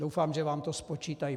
Doufám, že vám to spočítají.